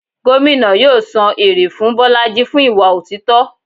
Gómìnà yóò san èrè fún bolájí fún ìwà otítọ́.